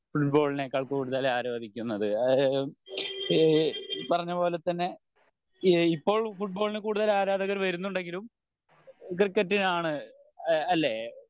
football നേക്കാൾ കൂടുതൽ ആരാധിക്കുന്നത് അതായത് ഈ പറഞ്ഞപോലെ തന്നെ ഇപ്പോൾ ഫുട്ബോൾന് കൂടുതൽ ആരാധകർ വരുന്നുണ്ടെങ്കിലും കർക്കറ്റിനാണ് അല്ലെ